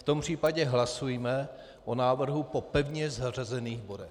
V tom případě hlasujme o návrhu po pevně zařazených bodech.